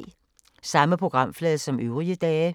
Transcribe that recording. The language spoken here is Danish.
Samme programflade som øvrige dage